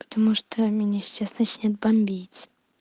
потому что меня сейчас начнёт бомбить